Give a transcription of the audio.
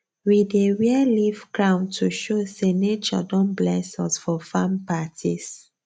we dey wear leaf crown to show say nature don bless us for farm parties